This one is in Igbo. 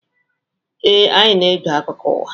Ee, anyị na-ege akụkọ ụwa.